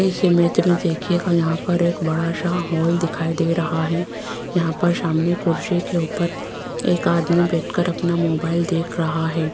इस इमेज में देखिएगा यहां पर एक बड़ा सा हॉल दिखाई दे रहा है यहां पर सामने कुर्सी के ऊपर एक आदमी बैठकर अपना मोबाइल देख रहा है।